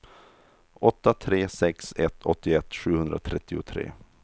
åtta tre sex ett åttioett sjuhundratrettiotre